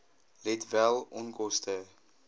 let wel onkoste